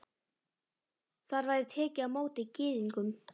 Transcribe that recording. Þar væri tekið á móti Gyðingum.